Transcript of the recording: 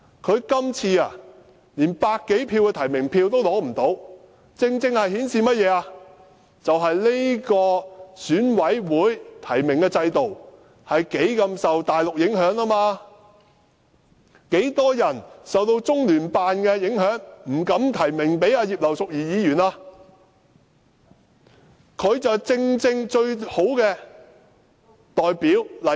她今次連百多票的提名票也取不到，正正顯示出這個選舉委員會的提名制度深受大陸的影響，許多人受到中聯辦的影響而不敢提名葉劉淑儀議員，她正是最好的代表例子。